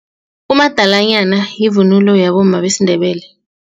Umadalanyana yivunulo yabomma besiNdebele.